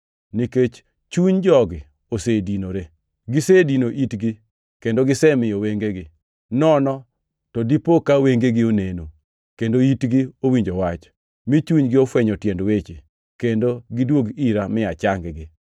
Nikech chuny jogi osedinore; gisedino itgi, kendo gisemiyo wengegi. Nono to dipo ka wengegi oneno, kendo itgi owinjo wach, mi chunygi ofwenyo tiend weche, kendo gidwog ira mi achang-gi!’ + 28:27 \+xt Isa 6:9,10\+xt*”